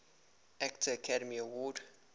actor academy award